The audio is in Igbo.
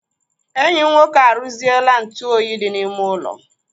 Enyi m nwoke arụziela ntụ oyi dị n'ime ụlọ